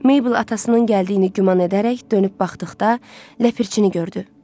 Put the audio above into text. Maybl atasının gəldiyini güman edərək dönüb baxdıqda, Ləpirçini gördü.